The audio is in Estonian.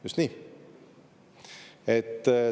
Just nii!